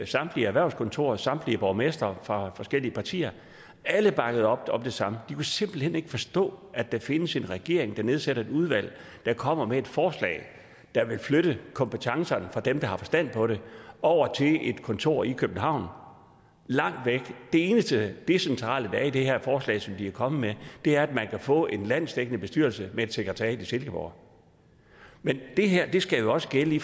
samtlige erhvervskontorer og samtlige borgmestre fra forskellige partier alle bakkede op om det samme de kunne simpelt hen ikke forstå at der findes en regering der nedsætter et udvalg der kommer med et forslag der vil flytte kompetencerne fra dem der har forstand på det over til et kontor i københavn langt væk det eneste decentrale der er i det her forslag som de er kommet med er at man kan få en landsdækkende bestyrelse med et sekretariat i silkeborg men det her skal jo også gælde i